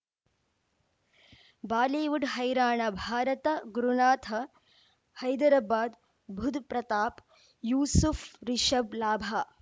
Bollywood ಹೈರಾಣ ಭಾರತ ಗುರುನಾಥ ಹೈದರಾಬಾದ್ ಬುಧ್ ಪ್ರತಾಪ್ ಯೂಸುಫ್ ರಿಷಬ್ ಲಾಭ